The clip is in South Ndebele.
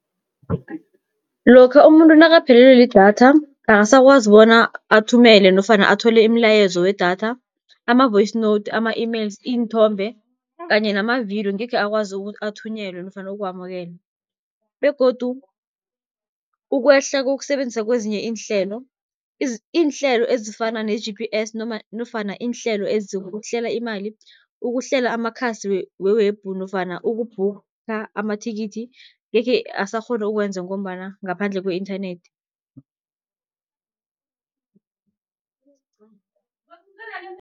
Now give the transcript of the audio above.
Lokha umuntu nakaphelelwe lidatha, akasakwazi bona athumele nofana athole imilayezo wedatha, ama-voice note, ama-emails, iinthombe kanye namavidiyo ngekhe akwazi ukuthi athunyelwe nofana ukuwamukela. Begodu ukwehla kokusebenzisa kwezinye iinhlelo iinhlelo ezifana ne-G_P_S nofana iinhlelo ezihlela imali, ukuhlela amakhasi we-web nofana uku-booker amathikithi ngekhe asakghona ukuwenza, ngombana ngaphandle kwe-inthanethi.